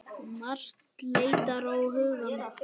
Margt leitar á hugann.